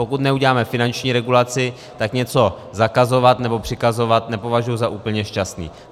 Pokud neuděláme finanční regulaci, tak něco zakazovat nebo přikazovat nepovažuji za úplně šťastné.